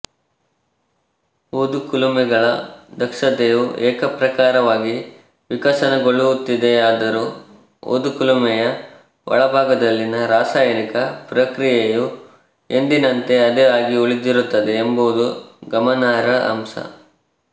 ಊದುಕುಲುಮೆಗಳ ದಕ್ಷತೆಯು ಏಕಪ್ರಕಾರವಾಗಿ ವಿಕಸನಗೊಳ್ಳುತ್ತಿದೆಯಾದರೂ ಊದುಕುಲುಮೆಯ ಒಳಭಾಗದಲ್ಲಿನ ರಾಸಾಯನಿಕ ಪ್ರಕ್ರಿಯೆಯು ಎಂದಿನಂತೆ ಅದೇ ಆಗಿ ಉಳಿದಿರುತ್ತದೆ ಎಂಬುದು ಗಮನಾರ್ಹ ಅಂಶ